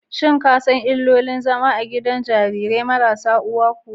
Shin ka san illolin zama a gidan jarirai marasa uwa kuwa?